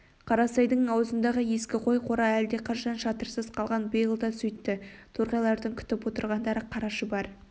қарасайдың аузындағы ескі қой қора әлдеқашан шатырсыз қалған биыл да сөйтті торғайлардың күтіп отырғандары қара шұбар